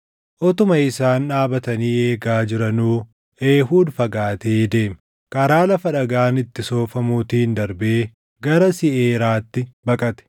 Utuma isaan dhaabatanii eegaa jiranuu Eehuud fagaatee deeme. Karaa lafa dhagaan itti soofamuutiin darbee gara Seʼiiraatti baqate.